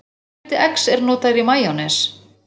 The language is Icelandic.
Hvaða hluti eggs er notaður í majónes?